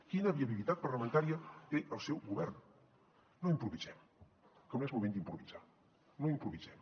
quina viabilitat parlamentària té el seu govern no improvisem que no és moment d’improvisar no improvisem